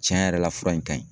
Tiɲɛ yɛrɛ la fura in ka ɲi.